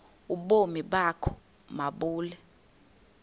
ubomi bakho mabube